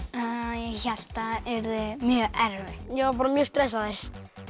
ég hélt það yrði mjög erfitt ég var bara mjög stressaður